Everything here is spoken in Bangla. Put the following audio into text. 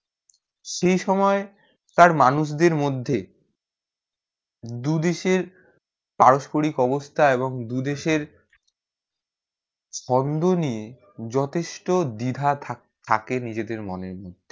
সময়ে তার মানুষদের মধ্যে দু দেশের পারস্পরিক অবস্থা এবং দু দেশের ছন্দ নিয়ে যথেষ্টদ্বিধা থাকে নিজে দের মনে মধ্যে